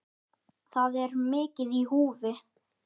Þar er mikið í húfi.